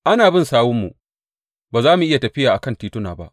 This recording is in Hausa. Ana bin sawunmu, ba za mu iya tafiya kan tituna ba.